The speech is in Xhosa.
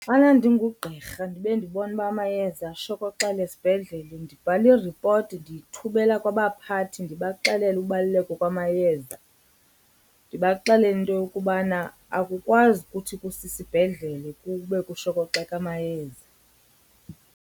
Xana ndingugqirha ndibe ndibona uba amayeza ashokoxele esibhedlele ndibhala iripoti ndiyithumela kwabaphathi ndibaxelele ubaluleka kwamayeza. Ndibaxelele into yokubana akukwazi kuthi kusisibhedlele kube kushokoxeka amayeza.